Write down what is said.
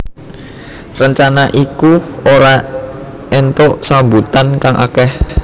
Rencana iku ora entuk sambutan kang akeh